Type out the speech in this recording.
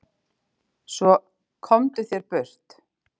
Svo, komdu þér burt.